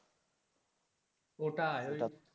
ও টাই.